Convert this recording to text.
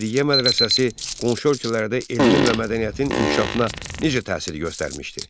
Rəşidiyyə mədrəsəsi qonşu ölkələrdə elmin və mədəniyyətin inkişafına necə təsir göstərmişdi?